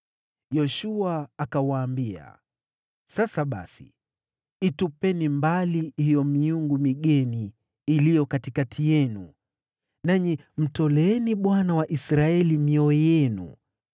Yoshua akawaambia, “Sasa basi, itupeni mbali hiyo miungu migeni iliyo katikati yenu, nanyi mtoleeni Bwana , Mungu wa Israeli, mioyo yenu.”